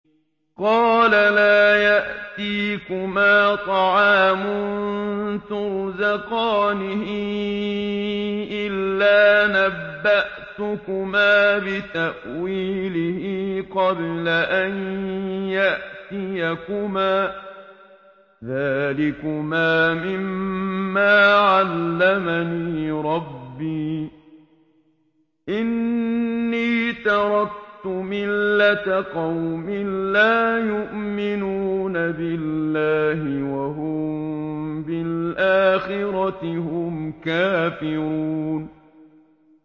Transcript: قَالَ لَا يَأْتِيكُمَا طَعَامٌ تُرْزَقَانِهِ إِلَّا نَبَّأْتُكُمَا بِتَأْوِيلِهِ قَبْلَ أَن يَأْتِيَكُمَا ۚ ذَٰلِكُمَا مِمَّا عَلَّمَنِي رَبِّي ۚ إِنِّي تَرَكْتُ مِلَّةَ قَوْمٍ لَّا يُؤْمِنُونَ بِاللَّهِ وَهُم بِالْآخِرَةِ هُمْ كَافِرُونَ